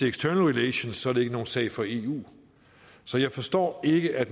external relations er det ikke nogen sag for eu så jeg forstår ikke at